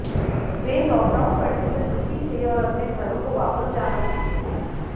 वे lockdown बढ़ने से दुखी थे और अपने घरों को वापस जाना चाहते थे